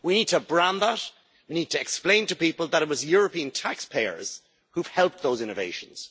We need to brand that we need to explain to people that it was European taxpayers who have helped those innovations.